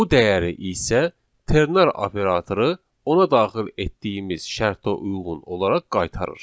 Bu dəyəri isə ternar operatoru ona daxil etdiyimiz şərtə uyğun olaraq qaytarır.